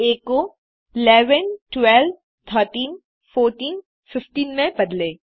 आ को 11 12 13 14 15 में बदलें